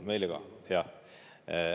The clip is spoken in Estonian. Meile ka, jaa.